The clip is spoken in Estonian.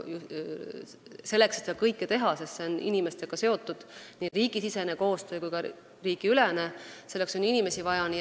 Selleks, et seda kõike teha, on vaja ka inimesi, sest nii riigisisene kui ka riigiülene koostöö on seotud inimestega.